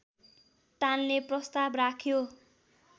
टाल्ने प्रस्ताव राख्यो